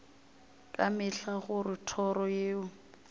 ka mehla gore toro yeo